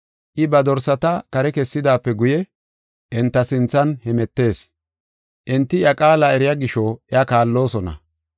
I ba dorsata kare kessidaape guye enta sinthan hemetees. Enti iya qaala eriya gisho iya kaalloosona.